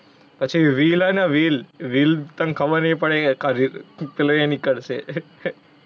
પછી Will હે ને Will, Will તને ખબર નહીં પડે એ આખા પેલો એ નિકળશે.